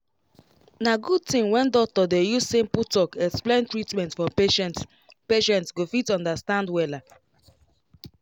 na good thing when doctor dey use simple talk explain treatment for patientpatient go fit understand wella